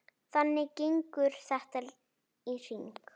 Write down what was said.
Þannig gengur þetta í hring.